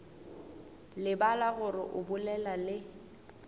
lebala gore o bolela le